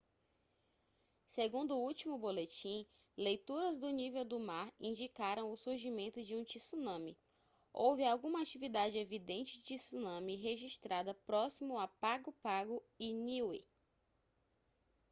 segundo o último boletim leituras do nível do mar indicaram o surgimento de um tsunami houve alguma atividade evidente de tsunami registrada próximo a pago pago e niue